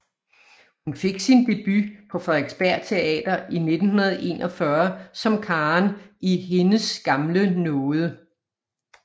Hun fik sin debut på Frederiksberg Teater i 1941 som Karen i Hendes gamle nåde